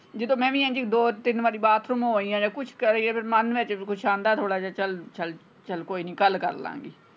ਜਦੋਂ ਮੈਂ ਵੀ ਇੰਜ ਹੀ ਦੋ ਤਿੰਨ ਵਾਰੀ bathroom ਹੋ ਆਈਂ ਆ ਜਾਂ ਕੁਛ ਕਰ ਆਈਂ ਫੇਰ ਮੰਨ ਵਿੱਚ ਕਛੂਹ ਆਉਂਦਾ ਥੋੜਾ ਜਿਹਾ ਚਲ ਚਲ ਕੋਈ ਨਹੀਂ ਕੱਲ ਕਰਲਾਂਗੇ।